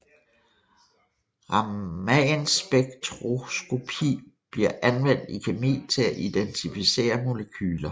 Ramanspektroskopi bliver anvendt i kemi til at identificere molekyler